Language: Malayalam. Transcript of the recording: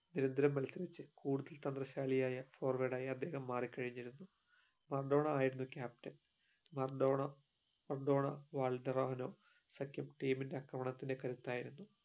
നിരന്തരം മത്സരിച്ചു കൂടുതൽ തന്ത്രശാലിയായ Forward ആയി അദ്ദേഹം മാറി കഴിഞിരുന്നു മറഡോണ ആയിരുന്നു captain Maradona Maradona Valdano team ന്റെ കരുത്തായിരുന്നു